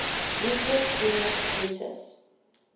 lucius junius brutus